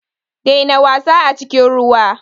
Daina wasa a cikin ruwa.